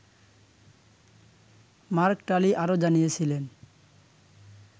mark Tully আরও জানিয়েছিলেন